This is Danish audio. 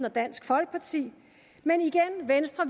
og dansk folkeparti men igen vil venstre